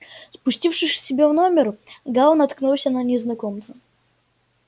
спустившись к себе в номер гаал наткнулся на незнакомца